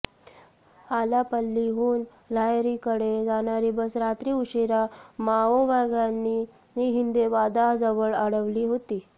आलापल्लीहून लाहेरीकडे जाणारी बस रात्री उशिरा माओवाद्यांनी हिंदेवादा जवळ अडवली होती